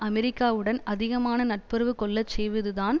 அமெரிக்காவுடன் அதிகமான நட்புறவு கொள்ள செய்வதுதான்